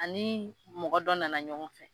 Ani mɔgɔ dɔ nana ɲɔgɔn fɛ